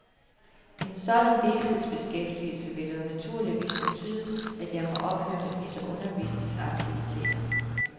En sådan deltidsbeskæftigelse vil dog naturligvis betyde, at jeg må ophøre med disse undervisningsaktiviteter.